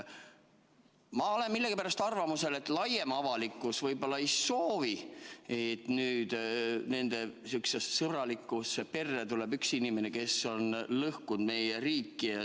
Ma olen millegipärast arvamusel, et laiem avalikkus võib-olla ei soovi, et nende sõbralikku perre tuleb inimene, kes on lõhkunud meie riiki.